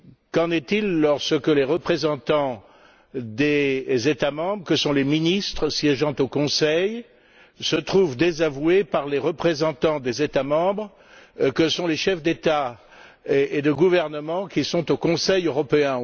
Qu'en est il lorsque les représentants des États membres, que sont les ministres siégeant au Conseil, se trouvent désavoués par les représentants des États membres, que sont les chefs d'État ou de gouvernement, qui sont au Conseil européen?